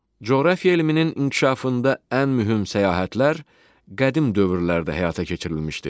Coğrafiya elminin inkişafında ən mühüm səyahətlər qədim dövrlərdə həyata keçirilmişdir.